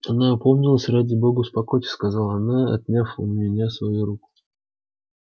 она опомнилась ради бога успокойтесь сказала она отняв у меня свою руку